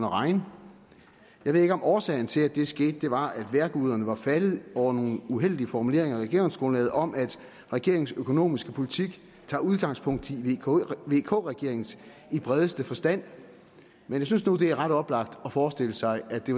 regne jeg ved ikke om årsagen til at det skete var at vejrguderne var faldet over nogle uheldige formuleringer i regeringsgrundlaget om at regeringens økonomiske politik tager udgangspunkt i vk regeringens i bredeste forstand men jeg synes nu at det er ret oplagt at forestille sig at det